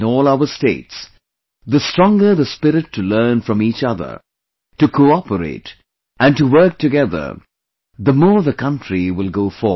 In all our states, the stronger the spirit to learn from each other, to cooperate, and to work together, the more the country will go forward